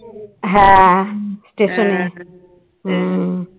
হম